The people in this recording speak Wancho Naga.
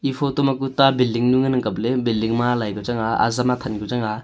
e photo ma ku a ta building nu ngan ang kap ley building ma alai ke chang a azam athan ke chang a.